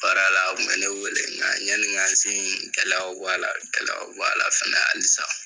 Baara la a kun me ne wele nga yanni n ka se in kɛlɛ bɛ bɔ, kɛlɛ bɛ bɔ a la fana halisa